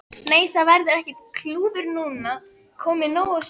Nei, það verður ekkert klúður núna, komið nóg af slíku.